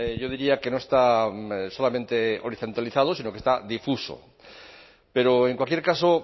yo diría que no está solamente horizontalizado sino que está difuso pero en cualquier caso